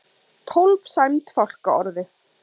Tólf sæmd fálkaorðu